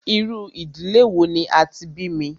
Irú ìdílé wò ní a tí bí mí?